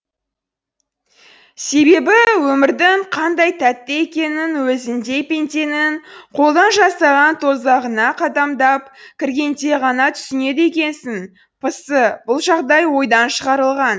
себебі өмірдің қандай тәтті екенін өзіңдей пенденің қолдан жасаған тозағына қадамдап кіргенде ғана түсінеді екенсің пысы бұл жағдай ойдан шығарылған